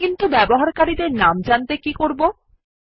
কিন্তু ব্যবহারকারীদের নাম জানতে কী করবো160